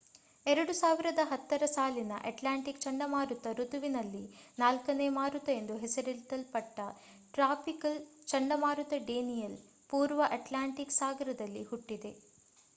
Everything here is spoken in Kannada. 2010ರ ಸಾಲಿನ ಅಟ್ಲಾಂಟಿಕ್ ಚಂಡಮಾರುತ ಋತುವಿನಲ್ಲಿ ನಾಲ್ಕನೇ ಮಾರುತ ಎಂದು ಹೆಸರಿಸಲ್ಪಟ್ಟ ಟ್ರಾಪಿಕಲ್ ಚಂಡಮಾರುತ ಡೇನಿಯಲ್ ಪೂರ್ವ ಅಟ್ಲಾಂಟಿಕ್ ಸಾಗರದಲ್ಲಿ ಹುಟ್ಟಿದೆ